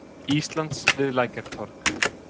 Íslands við Lækjartorg.